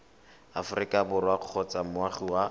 aforika borwa kgotsa moagi wa